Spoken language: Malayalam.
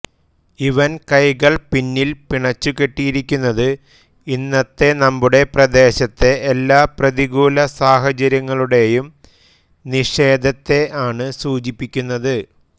ഇവൻ കൈകൾ പിന്നിൽ പിണച്ചുകെട്ടിയിരിക്കുന്നത് ഇന്നത്തെ നമ്മുടെ പ്രദേശത്തെ എല്ലാ പ്രതികൂല സാഹചര്യങ്ങളുടെയും നിഷേധത്തെ ആണ് സൂചിപ്പിക്കുന്നത്